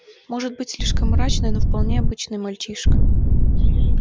может быть слишком мрачный но вполне обычный мальчишка